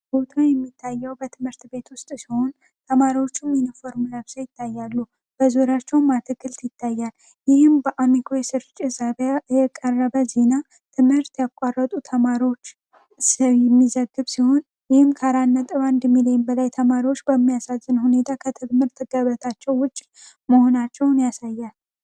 በምስሉ የሚታየው በትምህርት ቤት ውስጥ ሲሆን ተማሪዎቹ ሚኒፎርም ለብሳ ይታያሉ በዙሪያቸውን አትክልት ይታያል ይህም በአሚኮ የስርጭ ሕዘቢያ የቀረበ ዚና ትምህርት ያቋረጡ ተማሪዎች ሚዘግብ ሲሆን ይህም ከ4.1 ሚሊዮን በላይ ተማሪዎች በሚያሳዝን ሁኔታ ከትምህርት ገበታቸው ውጭ መሆናቸውን ያሳያል።